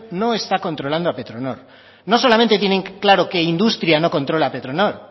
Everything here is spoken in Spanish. no está controlando a petronor no solamente tienen claro que industria no controla a petronor